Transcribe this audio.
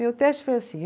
Meu teste foi assim.